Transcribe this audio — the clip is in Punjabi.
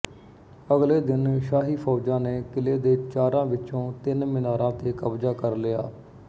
ਅਗਲੇ ਦਿਨ ਸ਼ਾਹੀ ਫ਼ੌਜਾਂ ਨੇ ਕਿਲ੍ਹੇ ਦੇ ਚਾਰਾਂ ਵਿਚੋਂ ਤਿੰਨ ਮੀਨਾਰਾਂ ਤੇ ਕਬਜ਼ਾ ਕਰ ਲਿਆ